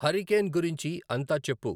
hurricane గురించి అంతా చెప్పు